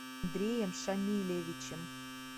андреем шамилевичем